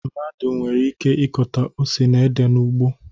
Mmadụ nwere ike ịkọta ose na ede n'ugbo